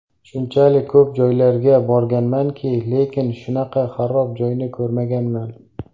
Shunchalik ko‘p joylarga borganmanki, lekin shunaqa xarob joyni ko‘rmaganman.